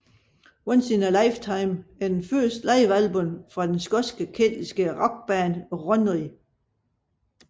Once In A Lifetime er det første livealbum fra den skotske keltiske rockband Runrig